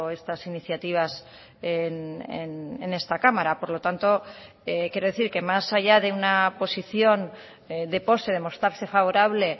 estas iniciativas en esta cámara por lo tanto quiero decir que más allá de una posición de pose de mostrarse favorable